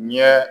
Ɲɛ